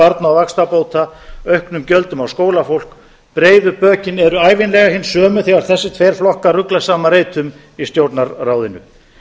barna og vaxtabóta auknum gjöldum á skólafólk breiðu bökin eru ævinlega hin sömu þegar þessir tveir flokkar rugla saman reitum í stjórnarráðinu